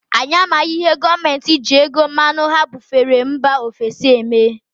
Anyị amaghị ihe gọọmenti ji ego mmanụ ha bufere mba ofesi eme.